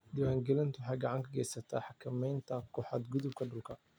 Diiwaangelintu waxay gacan ka geysataa xakamaynta ku xadgudubka dhulka.